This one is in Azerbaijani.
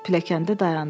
Pilləkəndə dayandı.